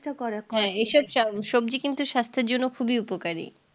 হ্যাঁ এসব স সবজি কিন্তু স্বাস্থ্যের জন্যে খুবই উপকারি